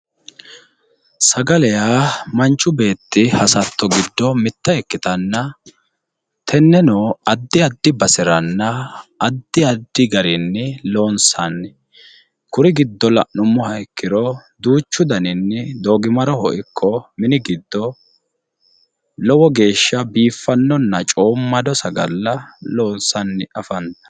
Sagale yaa manchi beetti hasatto giddo mitte ikkitanna, tenneno addi addi baseranna addi addi garinni loonsanni. Kuri giddo la'nummoha ikkiro duuchu daninni doogimaroho ikko mini giddo lowo geeshsha biifannonna coommado sagale loonsanni afantanno.